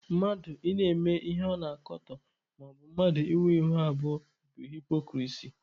Mmadụ ị na-eme ihe ọ na-akatọ maọbụ mmadụ ịnwe ihu abụọ bụ haịpokrisi